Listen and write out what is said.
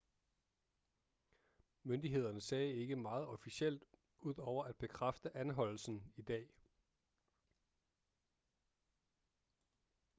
myndighederne sagde ikke meget officielt ud over at bekræfte anholdelsen i dag